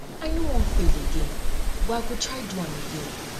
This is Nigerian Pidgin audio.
i no wan fail again but i go try do am again